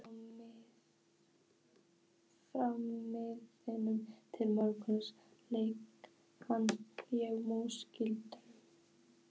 Frá miðnætti til morguns leik ég mús í gildru.